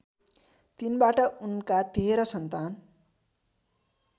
तिनबाट उनका तेह्र सन्तान